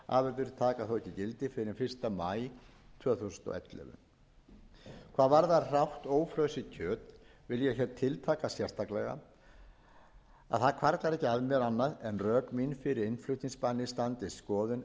ekki gildi fyrr en fyrsta maí tvö þúsund og ellefu hvað varðar hrátt ófrosið kjöt vil ég hér tiltaka sérstaklega að það hvarflar ekki að mér annað en að rök mín fyrir innflutningsbanni standist skoðun